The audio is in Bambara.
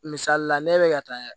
Misali la ne bɛ ka taa